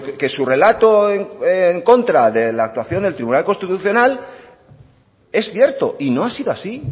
que su relato en contra de la actuación del tribunal constitucional es cierto y no ha sido así